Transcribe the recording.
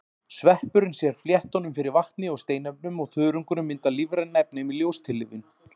Sveppurinn sér fléttunum fyrir vatni og steinefnum og þörungurinn myndar lífræn efni með ljóstillífun.